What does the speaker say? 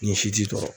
Ni si t'i kɔrɔ